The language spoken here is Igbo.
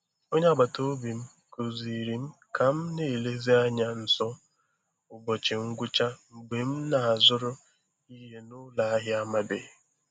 Onye agbata obi m kụziiri m ka m na-elezi anya nso ụbọchị ngwụcha mgbe m na-azụrụ ihe n'ụlọ ahịa amabeghị.